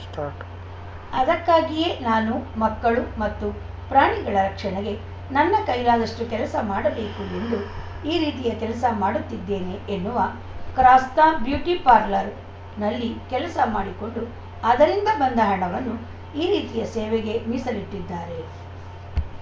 start ಅದಕ್ಕಾಗಿಯೇ ನಾನು ಮಕ್ಕಳು ಮತ್ತು ಪ್ರಾಣಿಗಳ ರಕ್ಷಣೆಗೆ ನನ್ನ ಕೈಲಾದಷ್ಟುಕೆಲಸ ಮಾಡಬೇಕು ಎಂದು ಈ ರೀತಿಯ ಕೆಲಸ ಮಾಡುತ್ತಿದ್ದೇನೆ ಎನ್ನುವ ಕ್ರಾಸ್ತಾ ಬ್ಯೂಟಿ ಪಾರ್ಲರ್‌ನಲ್ಲಿ ಕೆಲಸ ಮಾಡಿಕೊಂಡು ಅದರಿಂದ ಬಂದ ಹಣವನ್ನು ಈ ರೀತಿಯ ಸೇವೆಗೇ ಮೀಸಲಿಟ್ಟಿದ್ದಾರೆ